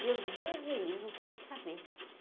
Meu Deus me livre, não quero saber.